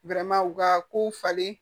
u ka kow falen